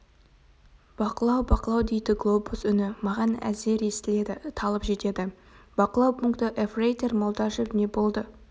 бақылау бақылау дейді глобус үні маған әзер естіледі талып жетеді бақылау пункті ефрейтор молдашев не болды